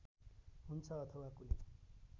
हुन्छ अथवा कुनै